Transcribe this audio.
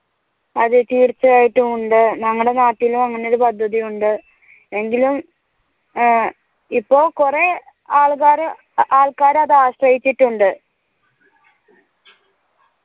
അതെ തീർച്ചയായിട്ടും ഉണ്ട് ഞങ്ങടെ നാട്ടിലും അങ്ങനെ ഒരു പദ്ധതി ഉണ്ട് എങ്കിലും ഇപ്പൊ കൊറേ ആൾഗാര് ആൾക്കാർ അത് ആശ്രയിച്ചിട്ടുണ്ട്